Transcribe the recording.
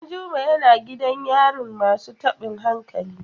Danjuma yana gidan yarin masu tabin hankali.